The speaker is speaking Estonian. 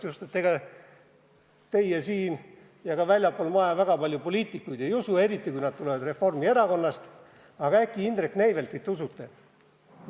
Just sellepärast, et ega teie siin ja ka väljaspool maja väga paljud poliitikuid ei usu, eriti kui nad tulevad Reformierakonnast, aga Indrek Neiveltit usute.